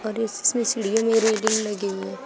और इस इसमें सीढ़ियों में रेलिंग लगी हुई है।